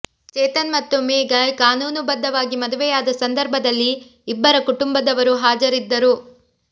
ಚೇತನ್ ಮತ್ತು ಮೇಘಾ ಕಾನೂನುಬದ್ಧವಾಗಿ ಮದುವೆಯಾದ ಸಂದರ್ಭದಲ್ಲಿ ಇಬ್ಬರ ಕುಟುಂಬದವರೂ ಹಾಜರಿದ್ದರು